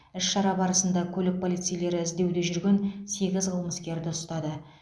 іс шара барысында көлік полицейлері іздеуде жүрген сегіз қылмыскерді ұстады